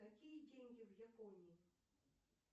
какие деньги в японии